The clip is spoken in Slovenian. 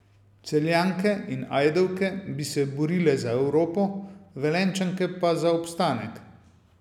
Celjanke in Ajdovke bi se borile za Evropo, Velenjčanke pa za obstanek.